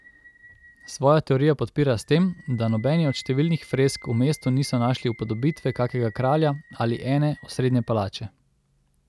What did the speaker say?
Svojo teorijo podpira s tem, da nobeni od številnih fresk v mestu niso našli upodobitve kakega kralja ali ene, osrednje palače.